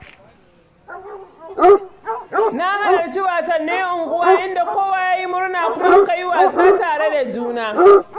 Na halarci wasannin unguwa inda kowa ya yi murna kuma muka yi wasa tare da juna.